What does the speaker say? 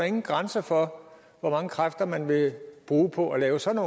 ingen grænser for hvor mange kræfter man vil bruge på at lave sådan